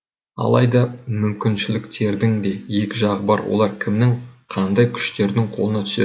алайда мүмкіншіліктердің де екі жағы бар олар кімнің қандай күштердің қолына түседі